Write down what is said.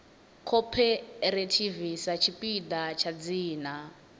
cooperative sa tshipiḓa tsha dzina